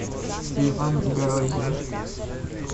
леван горозия